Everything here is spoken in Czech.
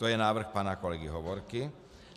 To je návrh pana kolegy Hovorky.